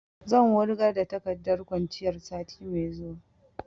Zan wurgar da takardar kwanciyar sati mai zuwa